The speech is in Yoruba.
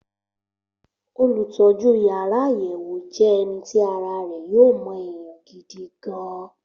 olùtọ́jú yàrá àyẹ̀wòjẹ́ je eni ti ara re yo mo eyan gidi gan-an.